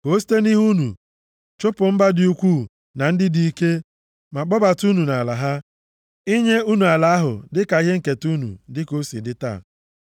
Ka o site nʼihu unu chụpụ mba dị ukwuu na ndị dị ike, ma kpọbata unu nʼala ha, inye unu ala ahụ dịka ihe nketa unu, dị ka o si dị taa.